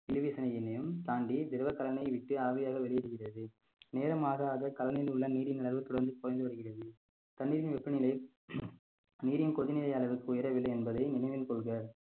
தாண்டி திரவ கலனை விட்டு ஆவியாக வெளியிடுகிறது நேரம் ஆக ஆக கலனியில் உள்ள நீரின் அளவு தொடர்ந்து குறைந்து வருகிறது தண்ணீரின் வெப்பநிலை நீரின் கொதிநிலை அளவுக்கு உயரவில்லை என்பதை நினைவில் கொள்க